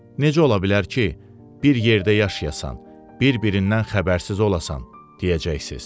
Necə ola bilər ki, bir yerdə yaşayasan, bir-birindən xəbərsiz olasan, deyəcəksiz.